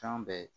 Fɛn bɛɛ ye